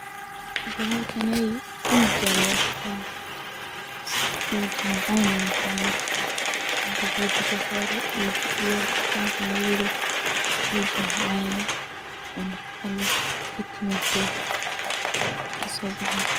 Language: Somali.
Bahalkan uji Aya lagadigtah uji macan ayunoqoni, inti biya dab la saroh uji macan oo nafaqa leeh Aya kasobaxaya.